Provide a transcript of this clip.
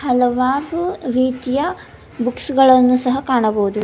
ಹಲವಾರು ರೀತಿಯ ಬುಕ್ಸ್ ಗಳನ್ನು ಸಹ ಕಾಣಬಹುದು.